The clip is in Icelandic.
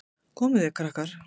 Komið þið, krakkar!